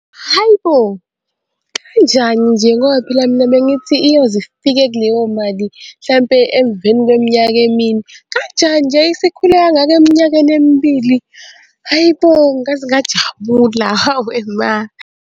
Hayi bo, kanjani nje ngoba phela mina bengithi iyoze ifike kuleyo mali hlampe emveni kweminyaka emine. Kanjani nje isikhule kangaka eminyakeni emibili? Hayi bo, ngaze ngajabula, hawe ma.